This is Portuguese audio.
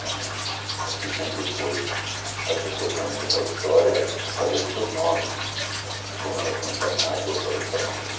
ãh. Acho que sempre foi, as pessoas só entram para a história através dos seus nomes, de como elas são chamadas ou foram chamadas.